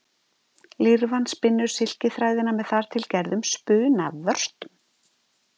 Lirfan spinnur silkiþræðina með þar til gerðum spunavörtum.